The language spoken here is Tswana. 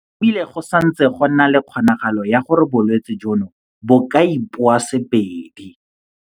E bile go santse go na le kgonagalo ya gore bolwetse jono bo ka ipoasebedi.